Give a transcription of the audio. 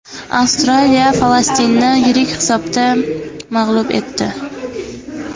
Avstraliya Falastinni yirik hisobda mag‘lub etdi .